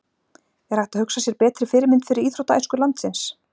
Er hægt að hugsa sér betri fyrirmynd fyrir íþróttaæsku landsins?